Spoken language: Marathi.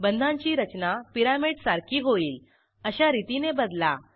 बंधांची रचना पिरॅमिडसारखी होईल अशा रितीने बदला